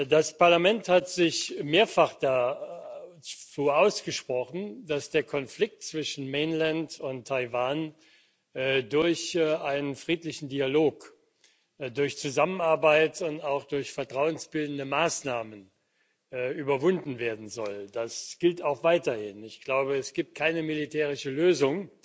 Das Parlament hat sich mehrfach dafür ausgesprochen, dass der Konflikt zwischen Mainland und Taiwan durch einen friedlichen Dialog, durch Zusammenarbeit und auch durch vertrauensbildende Maßnahmen überwunden werden soll. Das gilt auch weiterhin. Ich glaube, es gibt keine militärische Lösung,